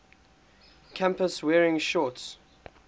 campus wearing shorts